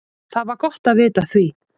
Það var gott vita af því.